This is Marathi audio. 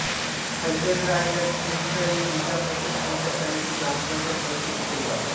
पंचायत राज या त्रिस्तरीय जिल्हा परिषद पंचायत समिती ग्रामपंचायत व्यवस्थेची सुरुवात